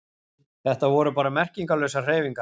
Þetta voru bara merkingarlausar hreyfingar.